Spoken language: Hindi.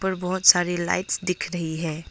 बहुत सारी लाइट्स दिख रही हैं।